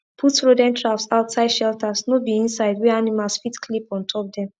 put rodent traps outside shelters no be inside wey animals fit clip on top dem